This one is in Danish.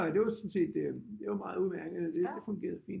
Det var sådan set det var meget udemærket det fungerede fint